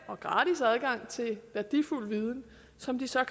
og gratis adgang til værdifuld viden som de så